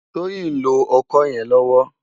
Toyin n ló òkò yèn lòwò